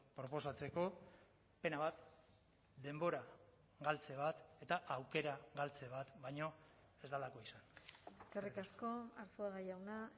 proposatzeko pena bat denbora galtze bat eta aukera galtze bat baino ez delako izan eskerrik asko arzuaga jauna